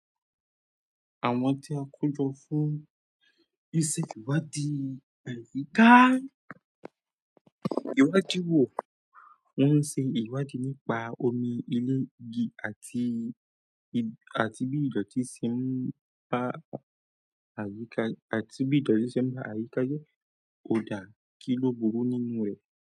Àwọn tí a kojọ fún ìṣe ìwádìí àyíká ìwádìí wò, wọ́n ṣe ìwádìí nípa omi ilé igi àti bí ìdọ̀tí ṣe ń ba àyíká jẹ, òdà kíló burú nínú rẹ̀.